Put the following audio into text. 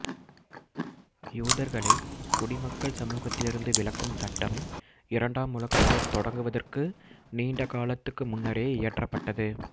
யூதர்களைக் குடிமக்கள் சமூகத்திலிருந்து விலக்கும் சட்டம் இரண்டாம் உலகப் போர் தொடங்குவதற்கு நீண்ட காலத்துக்கு முன்னரே இயற்றப்பட்டது